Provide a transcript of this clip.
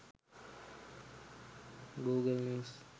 google news